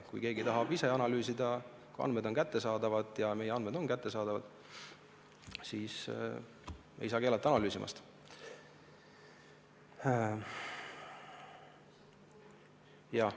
Kui keegi tahab ise analüüsida ja kui andmed on kättesaadavad – ja meie andmed on kättesaadavad –, siis ei saa analüüsimist keelata.